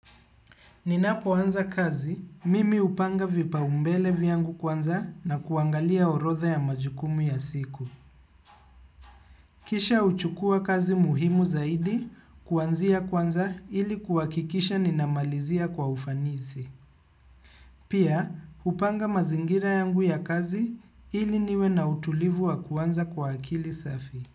Ninapoanza kazi, mimi upanga vipaumbele vyangu kwanza na kuangalia orodha ya majukumu ya siku. Kisha huchukua kazi muhimu zaidi, kuanzia kwanza ili kuhakikisha ninamalizia kwa ufanisi. Pia, hupanga mazingira yangu ya kazi ili niwe na utulivu wa kwanza kwa akili safi.